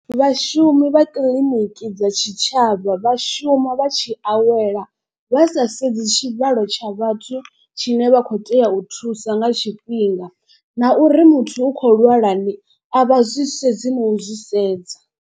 Vhashumi vha kiḽiniki dza tshitshavha vha shuma vha tshi awela vha sa sedzi tshivhalo tsha vhathu tshine vha kho tea u thusa nga tshifhinga. Na uri muthu u khou lwala ni a vha zwi sedzi nau zwi sedza.